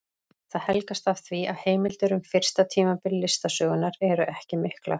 Það helgast af því að heimildir um fyrsta tímabil listasögunnar eru ekki miklar.